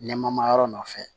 Nɛmayɔrɔ nɔfɛ